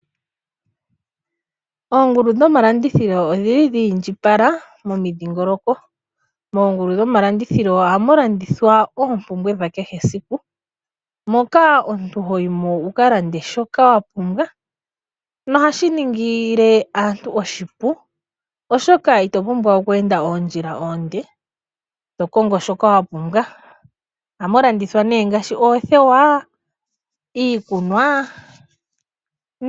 Oongulu dhoma landithilo odhili dhi indjipala momidhingoloko. Moongulu dhoma landithilo ohamu landithwa oompumbwe dha kehe esiku moka omuntu hoyi mo wuka lande shoka wapumbwa nohashi ningile aantu oshipu oshoka, ito vulu oku enda oondjila oonde to kongo shoka wa pumbwa. Ohamu landithwa ne ngashi oothewa, iikunwa.